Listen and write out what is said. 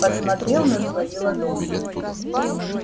посмотрел на свои ладони